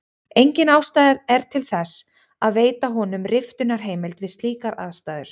Engin ástæða er til þess að veita honum riftunarheimild við slíkar aðstæður.